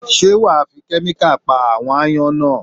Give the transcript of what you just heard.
Ṣé wà á fi kẹ́míkà pa àwọn ááyán náà?